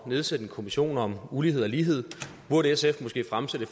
nedsætte en kommission om ulighed og lighed burde sf måske fremsætte